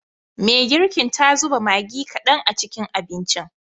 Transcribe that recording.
Me girkin ta zuba Maggi kadan a cikin abincin.